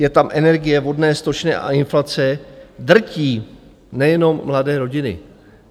Je tam energie, vodné, stočné a inflace, drtí nejenom mladé rodiny.